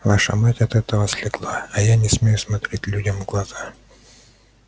ваша мать от этого слегла а я не смею смотреть людям в глаза